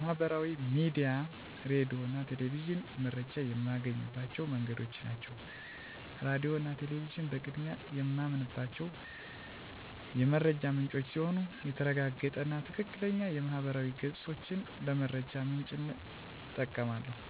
ማህበራዊ ሚዲያ፣ ሬዲዮ እና ቴሌቪዥን መረጃ የማገኝባቸው መንገዶች ናቸው። ሬዲዮ እና ቴሌቪዥን በቅድሚያ የማምናቸው የመረጃ ምንጮቼ ሲሆኑ የተረጋገጠ እና ትክክለኛ የማህበራዊ ገፆችንም ለመረጃ ምንጭነት እጠቀማለሁ።